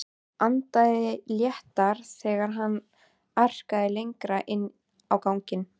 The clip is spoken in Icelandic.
Andaði léttar þegar hann arkaði lengra inn á ganginn.